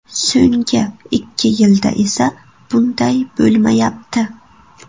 So‘nggi ikki yilda esa bunday bo‘lmayapti.